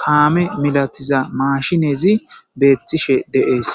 kaame malatiza mashiney dess.